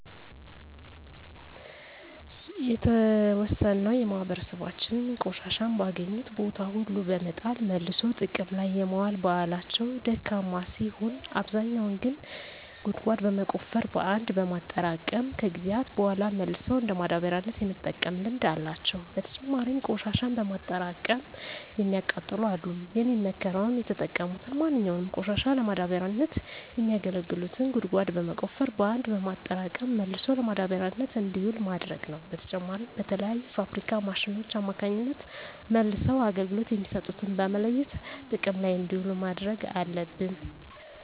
የተዎሰነው የማህበራሰባችን ቆሻሻን በአገኙት ቦታ ሁሉ በመጣል መልሶ ጥቅም ላይ የማዋል ባህላቸው ደካማ ሲሆን አብዛኛው ግን ጉድጓድ በመቆፈር በአንድ በማጠራቀም ከጊዜያት በሗላ መልሰው እንደ ማዳበሪያነት የመጠቀም ልምድ አላቸው። በተጨማሪም ቆሽሻን በማጠራቀም የሚያቃጥሉ አሉ። የሚመከረውም የተጠቀሙትን ማንኛውንም ቆሻሻ ለማዳበሪያነት የሚያገለግሉትን ጉድጓድ በመቆፈር በአንድ በማጠራቀም መልሶ ለማዳበሪያነት እንዲውል ማድረግ ነው። በተጨማሪም በተለያዩ የፋብሪካ ማሽኖች አማካኝነት መልሰው አገልግሎት የሚሰጡትን በመለየት ጥቅም ላይ እንዲውሉ ማድረግ አለብን።